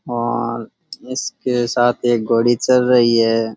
और इसके साथ एक घोड़ी चल रहीं है।